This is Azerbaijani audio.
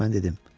Mən dedim.